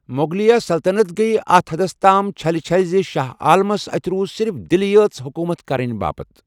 مغلیہ سلطنت گیہ اتھ حدس تام چھٕلہِ چھلہِ زِ شاہ عالمس اتھہِ روُزصِرف دِلٕیہ یٲژ حكومت كرنہٕ باپتھ ۔